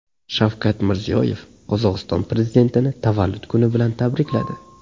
Shavkat Mirziyoyev Qozog‘iston prezidentini tavallud kuni bilan tabrikladi.